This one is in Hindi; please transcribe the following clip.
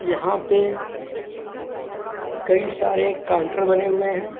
यहां पे कई सारे काउंटर बने हुए हैं।